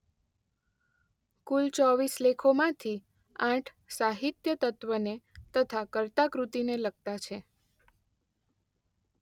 કુલ ચોવીસ લેખોમાંથી આઠ સાહિત્યતત્વને તથા કર્તા-કૃતિને લગતા છે